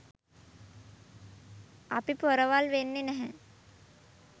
අපි පොරවල් වෙන්නෙ නැහැ.